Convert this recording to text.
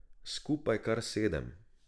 Skupaj kar sedem.